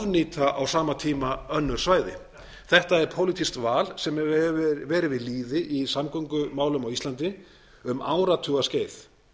ofnýta á sama tíma önnur svæði þetta er pólitískt val sem hefur verið við lýði í samgöngumálum á íslandi um áratugaskeið